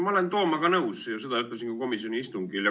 Ma olen Toomaga nõus ja seda ütlesin ka komisjoni istungil.